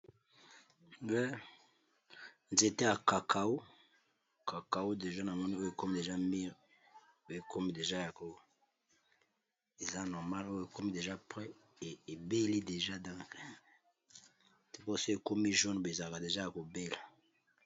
Ba nzete ya cakao cakao deja na moni oyo ekomi deja mire pe ekomi deja yao eza normal oyo ekomi deja pres ebeli deja dincre teposo ekomi jon bezaka deja ya kobela.